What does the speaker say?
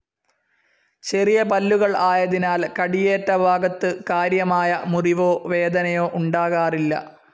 ചെറിയ പല്ലുകൾ ആയതിനാൽ കടിയേറ്റ ഭാഗത്തു കാര്യമായ മുറിവോ വേദനയോ ഉണ്ടാകാറില്ല.